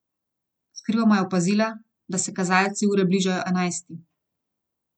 Skrivoma je opazila, da se kazalci ure bližajo enajsti.